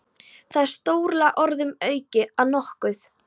Það er stórlega orðum aukið að nokkuð.